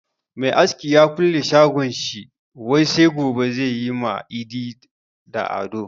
Mai aski ya kulle shagon shi wai sai gobe zai yi ma Idi da Ado.